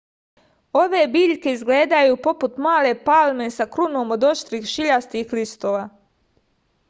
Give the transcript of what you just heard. ove biljke izgledaju poput male palme sa krunom od oštrih šiljastih listova